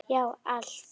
Já, allt.